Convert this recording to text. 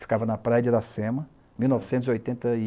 Ficava na praia de Aracema, em mil novecentos e oitenta e